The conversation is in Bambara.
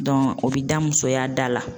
o bi da musoya da la.